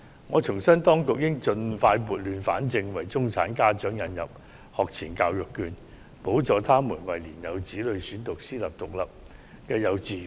我重申當局應盡快撥亂反正，為中產家長引入學前教育券，補助他們為年幼子女選讀私立獨立幼稚園的開支。